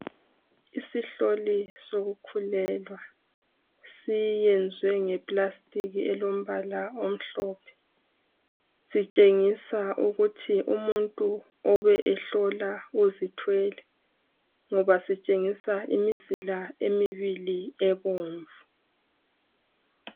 Isihloli sokukhulelwa siyenzwe ngepulasitiki elombala omhlophe . Sitshengisa ukuthi umuntu obe ehlola uzithwele ngoba sitshengisa imizila emibili ebomvu.